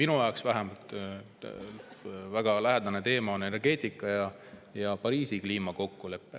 Üks vähemalt minule väga lähedane teema on energeetika ja Pariisi kliimakokkulepe.